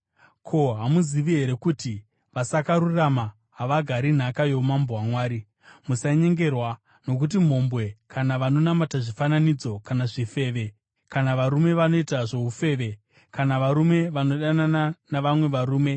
Ko, hamuzivi here kuti vasakarurama havagari nhaka youmambo hwaMwari? Musanyengerwa: Nokuti mhombwe kana vanonamata zvifananidzo, kana zvifeve, kana varume vanoita zvoufeve, kana varume vanodanana navamwe varume,